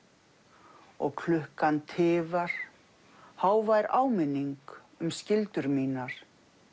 og klukkan tifar hávær áminning um skyldur mínar